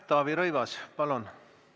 Taavi Rõivas, palun!